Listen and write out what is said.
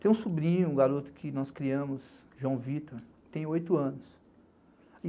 Tem um sobrinho, um garoto que nós criamos, João Vitor, que tem oito anos.